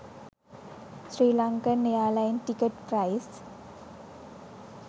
sri lankan airline ticket price